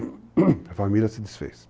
a família se desfez.